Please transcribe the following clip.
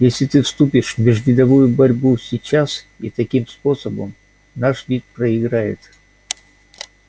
если ты вступишь в межвидовую борьбу сейчас и таким способом наш вид проиграет